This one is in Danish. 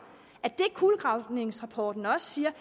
at det kulegravningsrapporten også siger